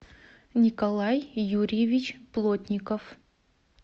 николай юрьевич плотников